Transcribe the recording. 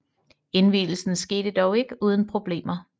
Indvielsen skete dog ikke uden problemer